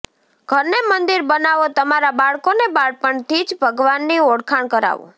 ઘરને મંદિર બનાવો તમારા બાળકોને બાળપણથી જ ભગવાનની ઓળખાણ કરાવો